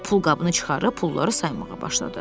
Pulqabını çıxarıb pulları saymağa başladı.